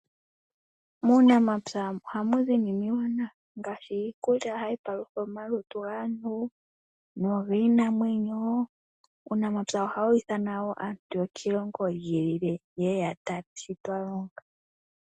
Muunamapya ohamu zi iinima iiwanawa ngaashi hayi palutha omalutu gaantu nogiinamwenyo. Uunamapya ohawi ithana wo aantu yokiilongo yimwe yeye yatale shi aantu twalonga.